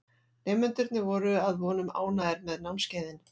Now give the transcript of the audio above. Nemendurnir voru að vonum ánægðir með námskeiðin.